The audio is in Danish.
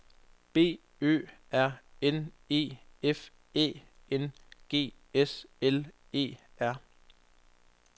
B Ø R N E F Æ N G S L E R